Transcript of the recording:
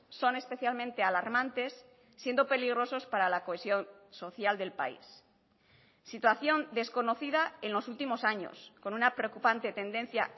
son especialmente alarmantes siendo peligrosos para la cohesión social del país situación desconocida en los últimos años con una preocupante tendencia